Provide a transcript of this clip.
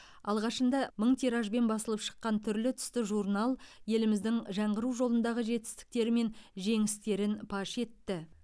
алғашында мың тиражбен басылып шыққан түрлі түсті журнал еліміздің жаңғыру жолындағы жетістіктері мен жеңістерін паш етті